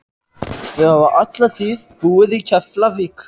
Þau hafa alla tíð búið í Keflavík.